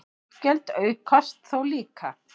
Útgjöld aukast þó líka.